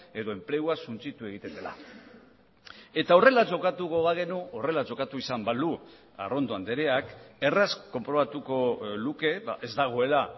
edo enplegua suntsitu egiten dela eta horrela jokatuko bagenu horrela jokatu izan balu arrondo andreak erraz konprobatuko luke ez dagoela